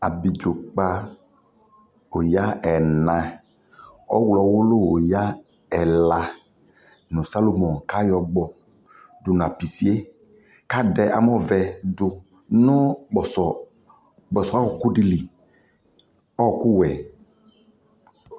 Abidʒokpa oya ɛɛna ɔwlɔwulu oyaɛɛla nu salomo kayɔgbɔ du napisie kadɛ amɔvɛ du nukpɔsɔɔ kpɔsɔɔ ɔku dili ɔɔku wɛ